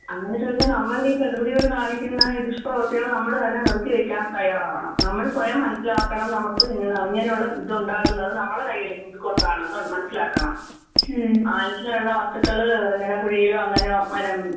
അങ്ങനെ ചോദിച്ചാ നമ്മളീ പ്രകൃതിയോട് കാണിക്കുന്ന ഈ ദുഷ്പ്രവർത്തികള് നമ്മള് തന്നെ നിർത്തി വയ്ക്കാൻ തയ്യാറാവണം. നമ്മള് സ്വയം മനസ്സിലാക്കണം നമുക്ക് എന്താ ഇങ്ങനെയുള്ള ഇതുണ്ടാകുന്നത് അത് നമ്മളെ കയ്യില് ഇതുകൊണ്ടാണെന്ന് മനസ്സിലാക്കണം. ഇനങ്ങനെയുള്ള വസ്തുക്കള് ഇങ്ങനെ കുഴിയിലോ അങ്ങനെ മനം